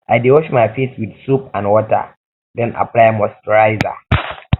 i dey wash my face with soap and water then apply moisturizer